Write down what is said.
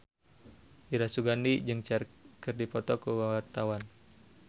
Dira Sugandi jeung Cher keur dipoto ku wartawan